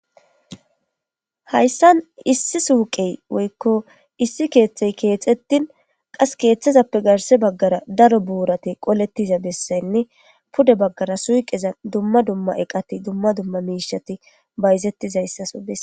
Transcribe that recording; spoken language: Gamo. Haysan issi suke woykko issi keththi kexetin kethazappe garasara daro buray qoletida besayne duma duma eqati duma duma mishati bayzetizaysaso beses